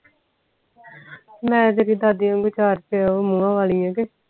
ਮੈਂ ਤੇਰੀ ਦਾਦੀ ਵਾਂਗੂ ਮੂੰਹ ਵਾਲੀ ਆ ਕੇ